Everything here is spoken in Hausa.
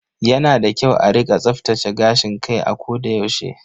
Yana da kyau a rika tsaftace gashin kai a koda yaushe.